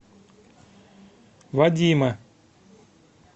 вадима